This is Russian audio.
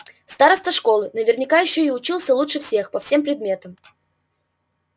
староста школы наверняка ещё и учился лучше всех по всем предметам